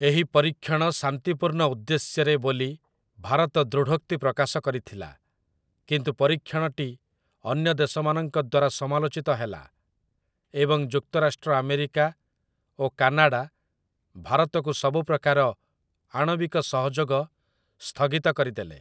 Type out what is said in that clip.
ଏହି ପରୀକ୍ଷଣ 'ଶାନ୍ତିପୂର୍ଣ୍ଣ ଉଦ୍ଦେଶ୍ୟ'ରେ ବୋଲି ଭାରତ ଦୃଢ଼ୋକ୍ତି ପ୍ରକାଶ କରିଥିଲା, କିନ୍ତୁ ପରୀକ୍ଷଣଟି ଅନ୍ୟ ଦେଶମାନଙ୍କ ଦ୍ଵାରା ସମାଲୋଚିତ ହେଲା, ଏବଂ ଯୁକ୍ତରାଷ୍ଟ୍ର ଆମେରିକା ଓ କାନାଡ଼ା ଭାରତକୁ ସବୁ ପ୍ରକାର ଆଣବିକ ସହଯୋଗ ସ୍ଥଗିତ କରିଦେଲେ ।